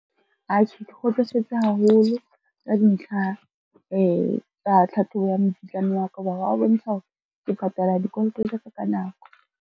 Atjhe, ke kgotsofetse haholo ka dintlha tsa tlhatlhobo ya mokitlane wa ka, ho ba hwa bontsha hore ke patala dikoloto tsa ka ka nako.